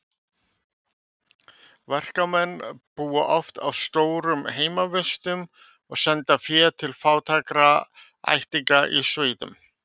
Verkamennirnir búa oft á stórum heimavistum og senda fé til fátækra ættingja í sveitum.